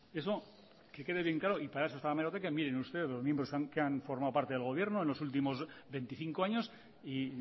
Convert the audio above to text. eso que quede bien claro y para eso está la hemeroteca y miren ustedes los miembros que han formado parte del gobierno en los últimos veinticinco años y